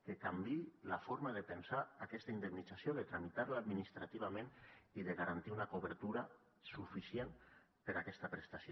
que canviï la forma de pensar aquesta indemnització de tramitar la administrativament i de garantir una cobertura suficient per a aquesta prestació